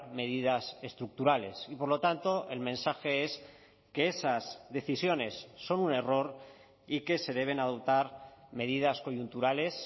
medidas estructurales y por lo tanto el mensaje es que esas decisiones son un error y que se deben adoptar medidas coyunturales